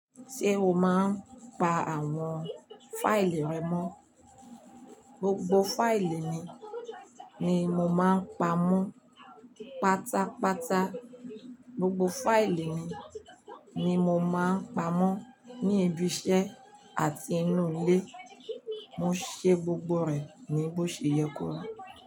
Ṣé o máa ń pa àwọn faìlì rẹ mọ́? Gbogbo fáìlì mi ni mo máa ń pa mọ́ pátápátá. Gbogbo fáìlì mi ni mo máa ń pa mọ́ ní ibi iṣẹ́ àti inú ilé, mo ṣe gbogbo rẹ̀ ní bó ṣe yẹ kó ri.